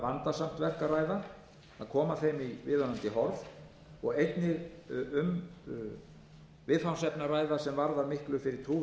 vandasamt verk að ræða að koma þeim í viðunandi horf og einnig um viðfangsefni að ræða sem varðar miklu fyrir